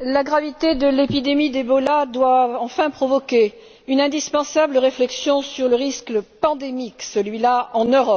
la gravité de l'épidémie d'Ebola doit enfin provoquer une indispensable réflexion sur le risque pandémique, celui là en Europe.